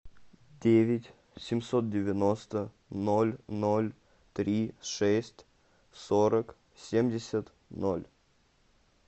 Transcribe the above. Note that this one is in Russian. девять семьсот девяносто ноль ноль три шесть сорок семьдесят ноль